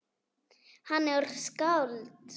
Hann er skáld.